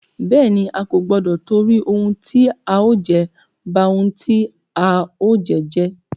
Bẹ́ẹ̀ni, A kò gbọdọ tìtorí ohun tí a ó jẹ, ba ohun tí a ó jẹ́ jẹ́.